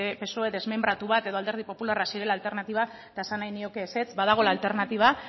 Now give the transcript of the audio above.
psoe desmenbratu bat edo alderdi popularra zirela alternatiba eta esan nahi nioke ezetz badagoela alternatiba